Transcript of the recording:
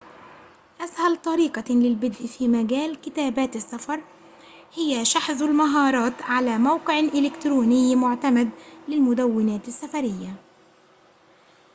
أسهل طريقة للبدء في مجال كتابات السفر هي شحذ المهارات على موقع إلكتروني معتمد للمدوّنات السفريّة